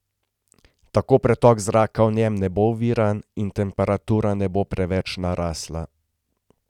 Tako pretok zraka v njem ne bo oviran in temperatura ne bo preveč narasla.